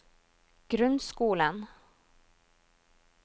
grunnskolen